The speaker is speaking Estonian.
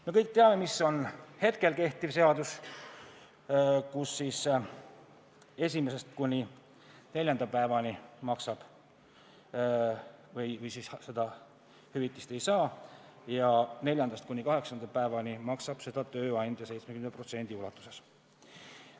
Me kõik teame, et kehtiva seaduse järgi inimene esimesest kuni neljanda päevani hüvitist ei saa ja neljandast kuni kaheksanda päevani maksab seda tööandja 70% ulatuses.